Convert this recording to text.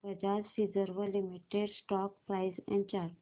Bajaj Finserv limited stock price and chart